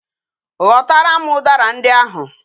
Ghotaram udara ndi ahu!